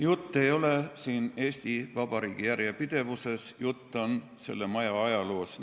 Jutt ei ole siin Eesti Vabariigi järjepidevusest, jutt on selle maja ajaloost.